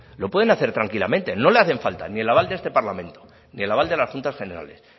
lo pueden hacer tranquilamente no le hacen falta ni el aval de este parlamento ni el aval de las juntas generales